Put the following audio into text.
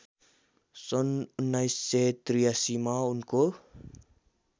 सन् १९८३ मा उनको